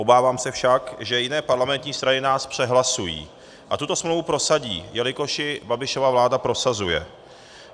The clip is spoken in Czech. Obávám se však, že jiné parlamentní strany nás přehlasují a tuto smlouvu prosadí, jelikož ji Babišova vláda prosazuje.